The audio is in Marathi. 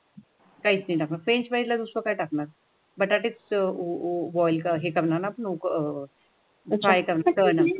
फ्रेंच फ्राईज दुसरं काय टाकणार? बटाटे बॉयल का हे करणं फ्राई तलनार.